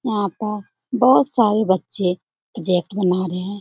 यहां पर बहुत सारे बच्चे प्रोजेक्ट बना रहे हैं।